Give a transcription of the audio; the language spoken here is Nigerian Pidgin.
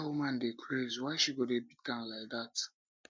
that woman dey dey craze why she go dey beat am like dat